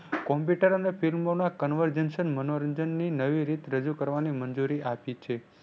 Computer અને ફિલ્મોના conversation મનોરંજન ની નવી રીત રજૂ કરવાની મંજૂરી આપી છે.